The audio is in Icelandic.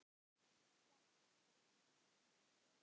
Jafnan fyrir þennan útdrátt er